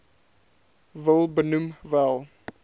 wil benoem wel